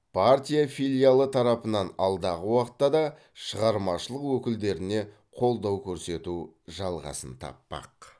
партия филиалы тарапынан алдағы уақытта да шығармашылық өкілдеріне қолдау көрсету жалғасын таппақ